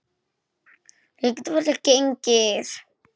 Ég get varla gengið.